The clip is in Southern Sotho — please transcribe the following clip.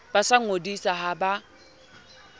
ba sa ngodisang ha ba